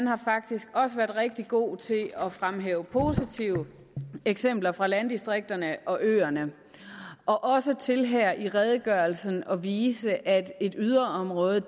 har faktisk været rigtig god til at fremhæve positive eksempler fra landdistrikterne og øerne og også til her i redegørelsen at vise at et yderområde